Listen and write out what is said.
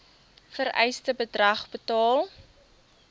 vereiste bedrag betaal